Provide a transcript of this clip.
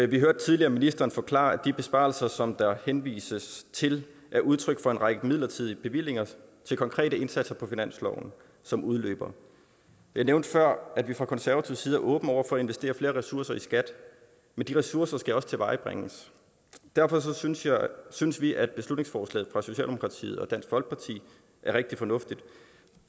vi hørte tidligere ministeren forklare at de besparelser som der henvises til er udtryk for en række midlertidige bevillinger til konkrete indsatser på finansloven som udløber jeg nævnte før at vi fra konservativ side er åbne over for at investere flere ressourcer i skat men de ressourcer skal også tilvejebringes derfor synes synes vi at beslutningsforslaget fra socialdemokratiet og dansk folkeparti er rigtig fornuftigt